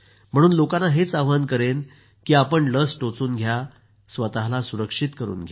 म्हणून लोकांना हेच आवाहन करेन की आपण लस टोचून घ्या आणि स्वतःला सुरक्षित करून घ्या